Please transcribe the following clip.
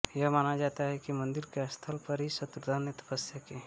यह माना जाता है कि मंदिर के स्थल पर ही शत्रुघ्न ने तपस्या की